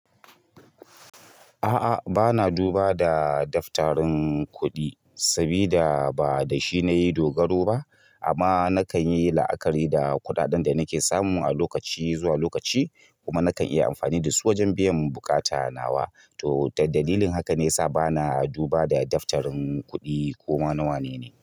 A'a, bana duba da daftarin kuɗi saboda ba da shi na yi dogaro ba. Amma na kan yi la'akari da kuɗaɗen da nake samun a lokaci zuwa lokaci kuma na kan iya amfani da su wajen biyan bukata nawa. To, dalilin haka ne ya sa bana duba da daftarin kuɗi ko ma na wane ne.